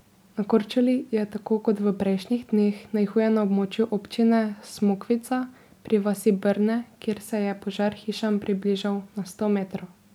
Na Korčuli je tako kot v prejšnjih dneh najhuje na območju občine Smokvica pri vasi Brne, kjer se je požar hišam približal na sto metrov.